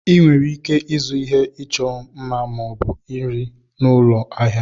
Ị nwere ike ịzụ ihe ịchọ mma ma ọ bụ nri n'ụlọ ahịa.